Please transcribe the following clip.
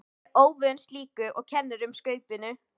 Er óvön slíku og kennir um Skaupinu.